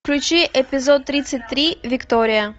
включи эпизод тридцать три виктория